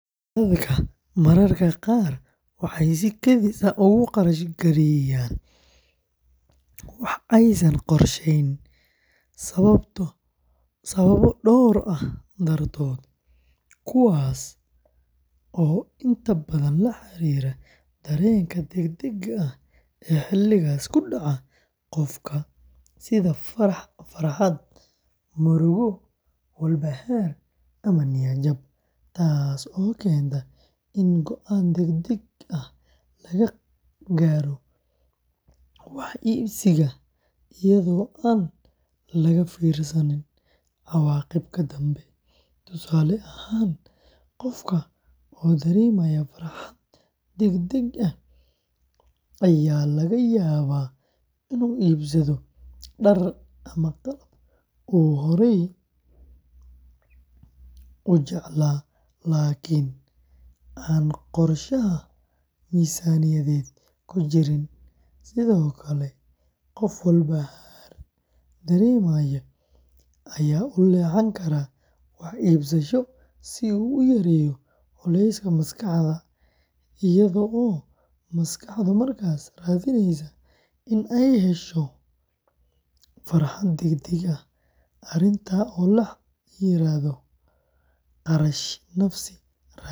Dadka mararka qaar waxay si kedis ah ugu kharash gareeyaan wax aysan qorsheyn sababo dhowr ah dartood, kuwaas oo inta badan la xiriira dareenka degdega ah ee xilligaas ku dhaca qofka, sida farxad, murugo, walbahaar, ama niyad jab, taasoo keenta in go’aan degdeg ah laga gaaro wax iibsiga iyadoo aan laga fiirsan cawaaqibka dambe; tusaale ahaan, qofka oo dareemaya farxad degdeg ah ayaa laga yaabaa inuu iibsado dhar ama qalab uu horey u jeclaa laakiin aan qorshaha miisaaniyadeed ku jirin, sidoo kale qof walbahaar dareemaya ayaa u leexan kara wax iibsasho si uu u yareeyo culayska maskaxda, iyadoo maskaxdu markaas raadineyso in ay hesho farxad degdeg ah, arrintan oo la yiraahdo "kharashka nafis-raadinta".